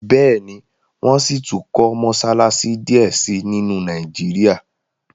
béèni wón síi tún kò Mossalassi diẹ sí nínu Nàìjíríà.